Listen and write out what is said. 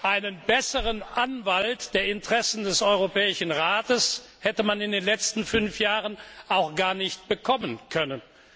Einen besseren Anwalt der Interessen des Europäischen Rates hätte man in den letzten fünf Jahren gar nicht bekommen können.